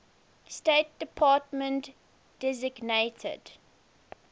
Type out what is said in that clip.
state department designated